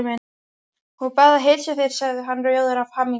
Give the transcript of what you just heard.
Hún bað að heilsa þér sagði hann rjóður af hamingju.